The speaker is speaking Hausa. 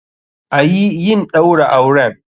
Ayi yin Ɗaura auren!